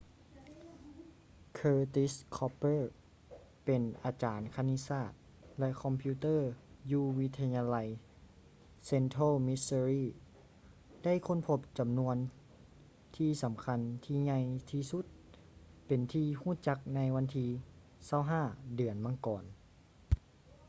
curtis cooper ເປັນອາຈານຄະນິດສາດ ແລະ ຄອມພິວເຕີຢູ່ວິທະຍາໄລ central missouri ໄດ້ຄົ້ນພົບຈໍານວນທີ່ສໍາຄັນທີ່ໃຫຍ່ທີ່ສຸດເປັນທີ່ຮູ້ຈັກໃນວັນທີ 25 ເດືອນມັງກອນ